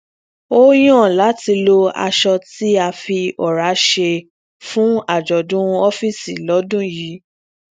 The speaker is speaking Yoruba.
ó yàn láti lo aṣọ tí a fi òrá ṣe fún àjọdún ọfíìsì lọdún yìí